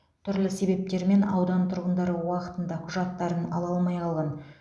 түрлі себептермен аудан тұрғындары уақытында құжаттарын ала алмай қалған